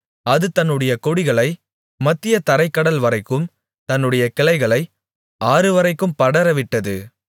அது தன்னுடைய கொடிகளைக் மத்திய தரைக் கடல்வரைக்கும் தன்னுடைய கிளைகளை ஆறுவரைக்கும் படரவிட்டது